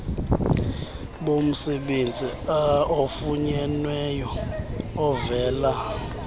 bomsebenzi ofunyenweyo ovela